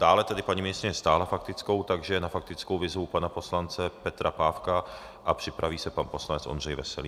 Dále tedy paní ministryně stáhla faktickou, takže na faktickou vyzvu pana poslance Petra Pávka a připraví se pan poslanec Ondřej Veselý.